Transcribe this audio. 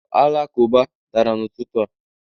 ụlọ alakụba dara n'ụtụtụ a